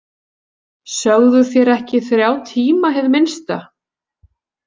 Sögðuð þér ekki þrjá tíma hið minnsta?